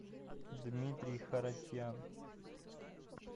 дмитрий харатьян